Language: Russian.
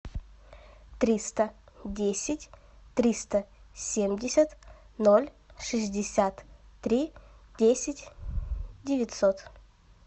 триста десять триста семьдесят ноль шестьдесят три десять девятьсот